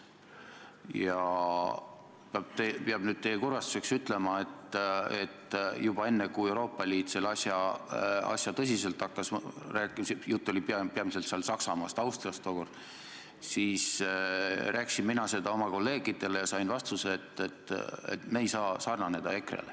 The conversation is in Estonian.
Ja peab teie kurvastuseks ütlema, et juba enne, kui Euroopa Liit sellesse asjasse tõsiselt suhtuma hakkas – jutt oli tookord peamiselt Saksamaast ja Austriast –, rääkisin mina seda oma kolleegidele ja sain vastuse, et me ei saa sarnaneda EKRE-ga.